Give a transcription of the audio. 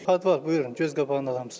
Padval, buyurun, göz qabağında hamısı.